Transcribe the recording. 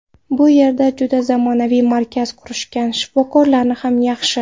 Bu yerda juda zamonaviy markaz qurishgan, shifokorlari ham yaxshi.